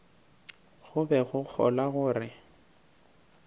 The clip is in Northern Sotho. go be go kgolwa gore